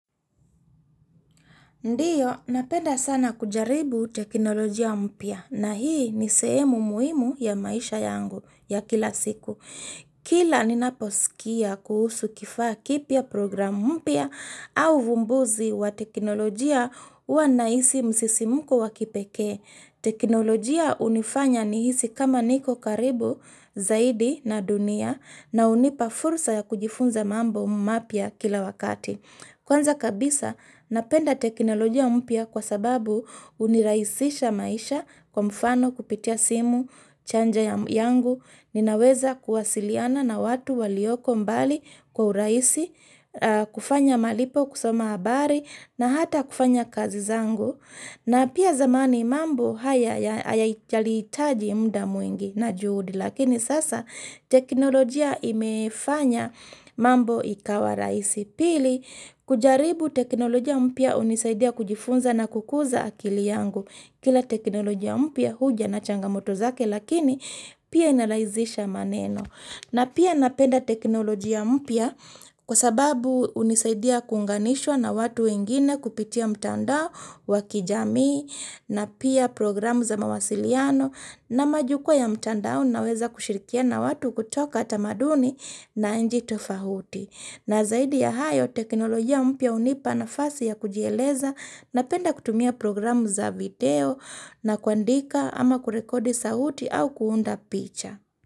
Ndiyo, napenda sana kujaribu teknolojia mpya na hii ni sehemu muhimu ya maisha yangu ya kila siku. Kila ni naposkia kuhusu kifaa kipya program mpya au uvumbuzi wa teknolojia huwa nahisi msisimuko wa kipekee. Teknolojia hunifanya nihisi kama niko karibu zaidi na dunia na hunipa fursa ya kujifunza mambo mapya kila wakati. Kwanza kabisa napenda teknolojia mpya kwa sababu unirahisisha maisha kwa mfano kupitia simu, chanja yangu, ninaweza kuwasiliana na watu walioko mbali kwa urahisi, kufanya malipo kusoma habari na hata kufanya kazi zangu. Na pia zamani mambo haya yalihitaji mda mwingi na juhudi lakini sasa teknolojia imefanya mambo ikawa rahisi pili kujaribu teknolojia mpya hunisaidia kujifunza na kukuza akili yangu kila teknolojia mpya huja na changamoto zake lakini pia inarahizisha maneno. Na pia napenda teknolojia mpya kwa sababu hunisaidia kuunganishwa na watu wengine kupitia mtandao wakijami na pia programu za mawasiliano na majukwaa ya mtandao naweza kushirikiana watu kutoka tamaduni na inchii tofauti. Na zaidi ya hayo teknoloji ya mpya hunipa nafasi ya kujieleza napenda kutumia programu za video na kuandika ama kurekodi sauti au kuunda picha.